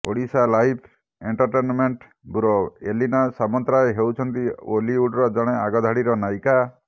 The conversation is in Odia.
ଓଡ଼ିଶାଲାଇଭ୍ ଏଣ୍ଟରଟେନମେଣ୍ଟ ବ୍ୟୁରୋ ଏଲିନା ସାମନ୍ତରାୟ ହେଉଛନ୍ତି ଓଲିଉଡର ଜଣେ ଆଗଧାଡ଼ିର ନାୟିକା